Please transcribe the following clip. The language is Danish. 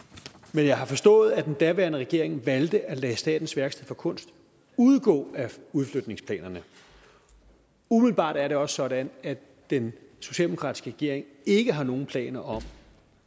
men jeg har forstået at den daværende regering valgte at lade statens værksteder for kunst udgå af udflytningsplanerne umiddelbart er det også sådan at den socialdemokratiske regering ikke har nogen planer om